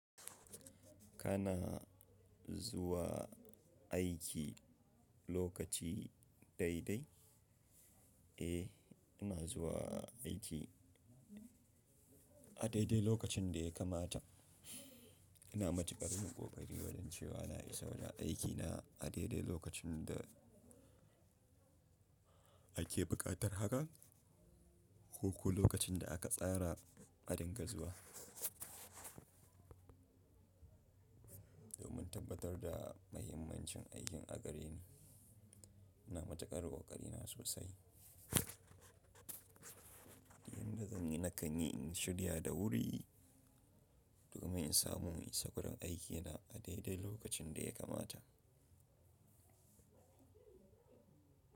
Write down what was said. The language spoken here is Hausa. Kana zuwa aiki lokaci daidai? Eh, ina zuwa aiki a daidai lokacin da ya kamata. Ina matuƙar yin ƙoƙari wajan cewa na isa wajan aikina a daidai lokacin da ake buƙatar haka ko ko lokacin da aka tsara a dinga zuwa. Domin tabbatar da mahimmancin aikin a gare ni, ina matuƙar ƙoƙari na sosai. Inda zan yi, na ƙan yi in shirya da wuri domin in samu in isa wurin aikina a daidai lokacin da ya kamata.